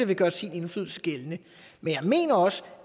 vil gøre sin indflydelse gældende men jeg mener også